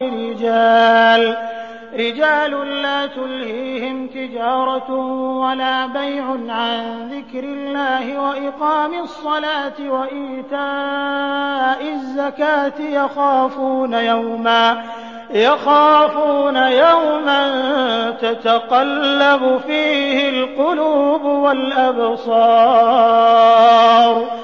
رِجَالٌ لَّا تُلْهِيهِمْ تِجَارَةٌ وَلَا بَيْعٌ عَن ذِكْرِ اللَّهِ وَإِقَامِ الصَّلَاةِ وَإِيتَاءِ الزَّكَاةِ ۙ يَخَافُونَ يَوْمًا تَتَقَلَّبُ فِيهِ الْقُلُوبُ وَالْأَبْصَارُ